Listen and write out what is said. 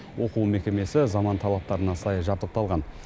оқу мекемесі заман талаптарына сай жабдықталған